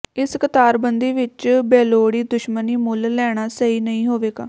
ਇਸ ਕਤਾਰਬੰਦੀ ਵਿੱਚ ਬੇਲੋੜੀ ਦੁਸ਼ਮਣੀ ਮੁੱਲ ਲੈਣਾ ਸਹੀ ਨਹੀਂ ਹੋਵੇਗਾ